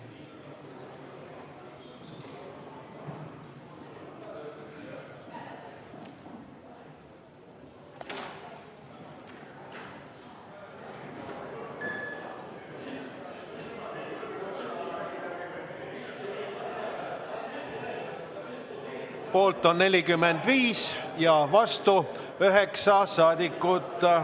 Poolt on 45 ja vastu 9 saadikut.